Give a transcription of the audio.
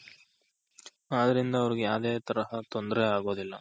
ಆದ್ರಿಂದ ಅವರ್ಗೆ ಯಾವ್ದೆ ತರಹದ ತೊಂದ್ರೆ ಆಗೋದಿಲ್ಲ